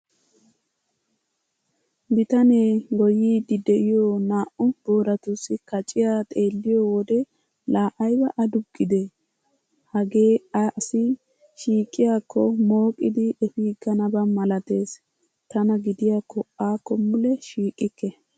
Bitanee goyyiiddi de'iyo naa"u booratussi kaciya xeelliyo wode laa ayba aduqqidee, hagee asi shiiqiyakko mooqidi efiiganaba malatees! Tana gidiyakko akko mule shiiqikke!